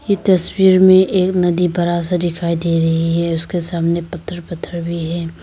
ये तस्वीर में एक नदी बड़ा सा दिखाई दे रही है उसके सामने पत्थर पत्थर भी है।